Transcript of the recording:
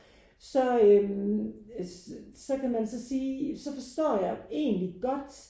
Så øh så kan man så sige så forstår jeg egentlig godt